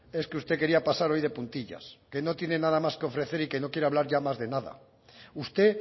es que usted quería pasar hoy de puntillas que no tiene nada más que ofrecer y que no quiere hablar ya más de nada usted